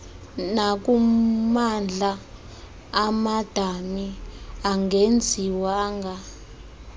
nakummandla amadami angenziwanga